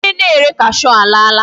Onye na-ere cashew alaala.